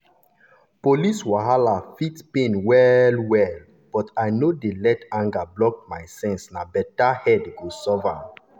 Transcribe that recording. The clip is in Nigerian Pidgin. police wahala fit pain well-well but i no dey let anger block my sense na better head go solve am.